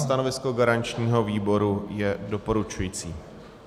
Stanovisko garančního výboru je doporučující.